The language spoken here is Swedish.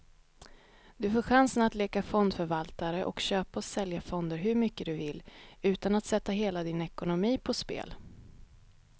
Du får chansen att leka fondförvaltare och köpa och sälja fonder hur mycket du vill, utan att sätta hela din ekonomi på spel.